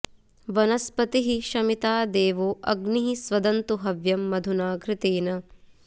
वन॒स्पतिः॑ शमि॒ता दे॒वो अ॒ग्निः स्वद॑न्तु ह॒व्यं मधु॑ना घृ॒तेन॑